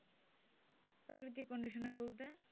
প্রাকৃতিক কন্ডিশনার বলতে?